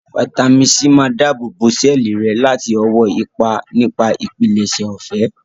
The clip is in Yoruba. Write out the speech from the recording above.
Fáítámì sí máa dáàbò sẹ́ẹ̀lì rẹ láti ọwọ́ ipa nipa ìpilẹ̀ṣẹ̀ ọ̀fẹ́